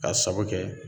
K'a sabu kɛ